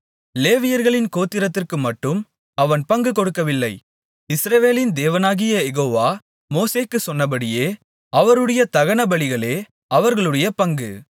லேவியர்களின் கோத்திரத்திற்குமட்டும் அவன் பங்கு கொடுக்கவில்லை இஸ்ரவேலின் தேவனாகிய யெகோவா மோசேக்குச் சொன்னபடியே அவருடைய தகனபலிகளே அவர்களுடைய பங்கு